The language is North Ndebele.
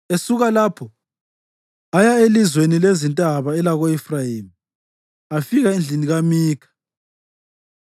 Esuka lapho aya elizweni lezintaba elako-Efrayimi afika endlini kaMikha.